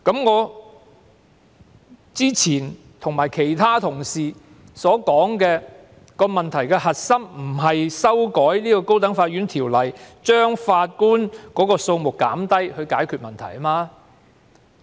我之前和其他同事均指出，問題的核心並非單憑修改《高等法院條例》，減低法官數目便能解決。